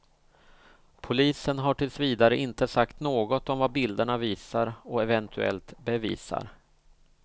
Polisen har tills vidare inte sagt något om vad bilderna visar och eventuellt bevisar.